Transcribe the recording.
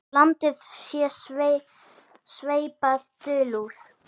Landið sé sveipað dulúð.